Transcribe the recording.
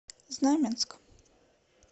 знаменск